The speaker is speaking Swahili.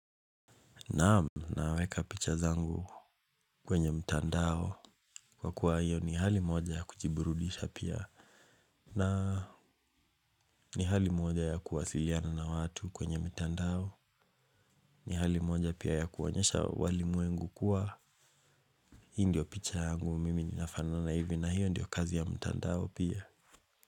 Naam naweka picha zangu kwenye mtandao kwa kuwa hiyo ni hali moja ya kujiburudisha pia na ni hali moja ya kuwasiliana na watu kwenye mtandao ni hali moja pia ya kuonyesha walimwengu kuwa hii ndio picha yangu mimi ninafanana hivi na hiyo ndiyo kazi ya mtandao pia.